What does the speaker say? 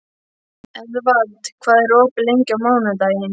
Eðvald, hvað er opið lengi á mánudaginn?